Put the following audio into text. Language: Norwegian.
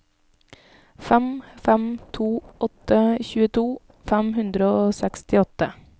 fem fem to åtte tjueto fem hundre og sekstiåtte